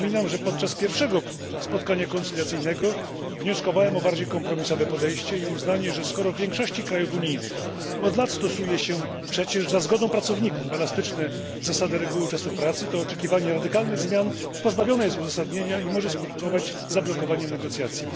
Przypominam, że podczas pierwszego spotkania pojednawczego wnioskowałem o bardziej kompromisowe podejście i uznanie, że skoro w większości krajów unijnych od lat stosuje się przecież za zgodą pracowników elastyczne zasady reguły czasu pracy, to oczekiwanie radykalnych zmian pozbawione jest uzasadnienia i może skutkować zablokowaniem negocjacji.